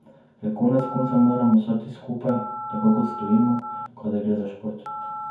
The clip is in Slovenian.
Ker konec koncev moramo stati skupaj, tako kot stojimo, kadar gre za šport.